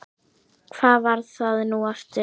hvar var það nú aftur?